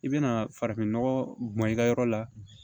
I bɛna farafinnɔgɔ bɔn i ka yɔrɔ la